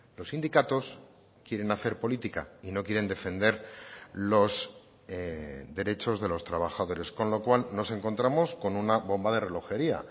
los sindicatos quieren hacer política y no quieren defender los derechos de los trabajadores con lo cual nos encontramos con una bomba de relojería